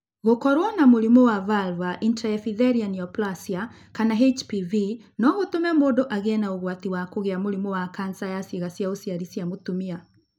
Gũkorũo na mũrimũ wa vulvar intraepithelial neoplasia kana HPV no gũtũme mũndũ agĩe na ũgwati wa kũgĩa mũrimũ wa kanca ya ciĩga cia ũciari cia mũtumia.